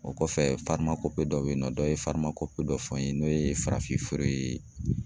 O kɔfɛ dɔ be yen nɔ, dɔ ye dɔ fɔ n ye n'o ye farafinfeere ye